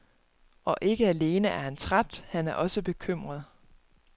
Og ikke alene er han træt, han er også bekymret.